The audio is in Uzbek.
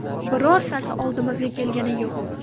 Birortasi oldimizga kelgani yo‘q.